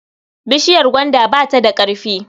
Bishiyar gwaanda bata da ƙarfi.